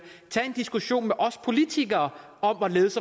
tage en diskussion med os politikere om